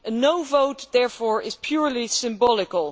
A no' vote, therefore, is purely symbolic.